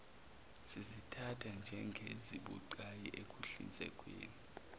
sizithatha njengezibucayi ekuhlinzekweni